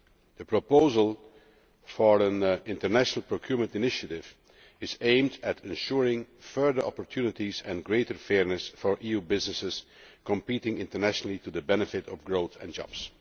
The proposal for an international procurement initiative is aimed at ensuring further opportunities and greater fairness for EU businesses competing internationally, to the benefit of growth and jobs.